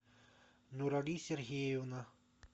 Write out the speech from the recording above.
нурали сергеевна